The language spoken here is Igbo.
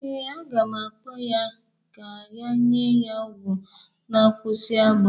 Ee, aga m akpọ ya ga ka enye ya ọgwọ na-akwụsị agbọ.